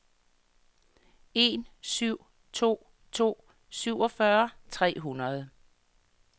en syv to to syvogfyrre tre hundrede